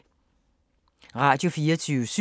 Radio24syv